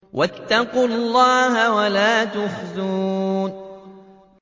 وَاتَّقُوا اللَّهَ وَلَا تُخْزُونِ